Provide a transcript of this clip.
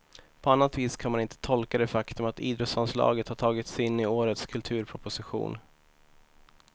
På annat vis kan man inte tolka det faktum att idrottsanslaget har tagits in i årets kulturproposition.